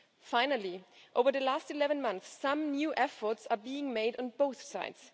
Finally, over the last 11 months, some new efforts have been made on both sides.